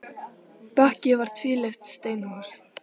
Bakki var tvílyft steinhús.